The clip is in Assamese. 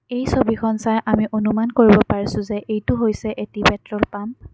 এই ছবিখন চাই আমি অনুমান কৰিব পাৰিছোঁ যে এইটো হৈছে এটি পেট্ৰল পাম্প ।